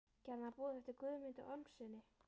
Gerði hann boð eftir Guðmundi Ormssyni.